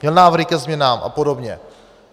Měl návrhy ke změnám a podobně?